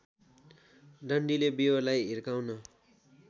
डन्डीले बियोलाई हिर्काउन